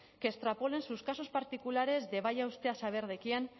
que extrapola en sus casos particulares de vaya usted a saber de quién